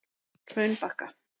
Hraunbakka